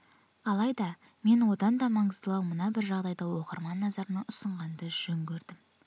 алайда мен одан да маңыздылау мына бір жағдайды оқырман назарына ұсынғанды жөн көрдім